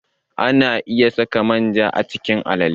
Ana iya saka manja a cikin alale.